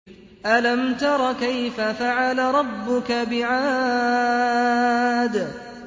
أَلَمْ تَرَ كَيْفَ فَعَلَ رَبُّكَ بِعَادٍ